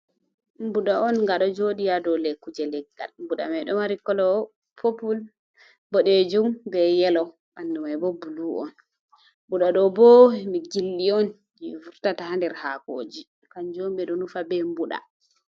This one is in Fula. Mbuɗa on nga ɗo joɗi ha dou le kuje leggal, mbuɗa mai ɗo mari kolo popul, boɗejum be yelo, ɓanɗu mai bo bulu on. Mbuɗa ɗo bo gildi on je vurtatah nder hakoji, kanjum ɓe ɗo nufa be mbuɓa.